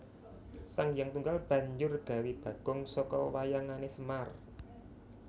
Sanghyang Tunggal banjur gawé bagong saka wewayangané Semar